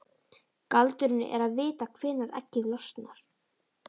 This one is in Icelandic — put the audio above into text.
Galdurinn er að vita hvenær eggið losnar.